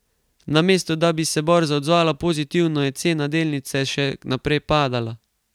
Namesto da bi se borza odzvala pozitivno, je cena delnice še naprej padala.